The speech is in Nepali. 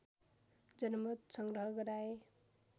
जनमत सङ्ग्रह गराए